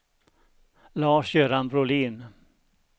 Lars-Göran Brolin